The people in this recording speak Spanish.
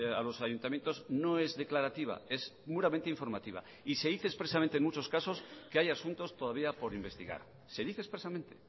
a los ayuntamientos no es declarativa es puramente informativa y se dice expresamente en muchos casos que hay asuntos todavía por investigar se dice expresamente